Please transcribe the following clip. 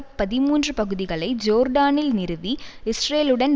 பதிமூன்று பகுதிகளை ஜோர்டானில் நிறுவி இஸ்ரேலுடன்